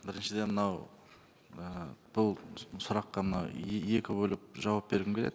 біріншіден мынау і бұл сұраққа мына екі бөліп жауап бергім келеді